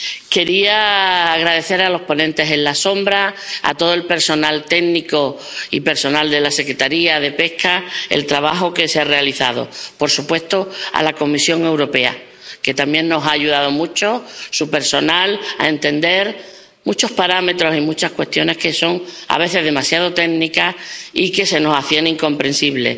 Quería agradecer a los ponentes alternativos, a todo el personal técnico y al personal de la Secretaría de Pesca el trabajo que se ha realizado, y, por supuesto, a la Comisión Europea, cuyo personal también nos ha ayudado mucho a entender muchos parámetros en muchas cuestiones que son a veces demasiado técnicas y que se nos hacían incomprensibles.